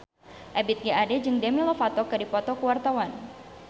Ebith G. Ade jeung Demi Lovato keur dipoto ku wartawan